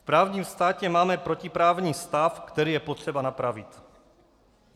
V právním státě máme protiprávní stav, který je potřeba napravit.